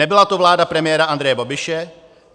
Nebyla to vláda premiéra Andreje Babiše.